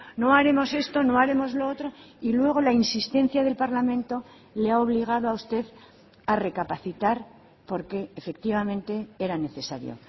no haremos esto no haremos lo otro y luego la insistencia del parlamento le ha obligado a usted a recapacitar porque efectivamente era necesario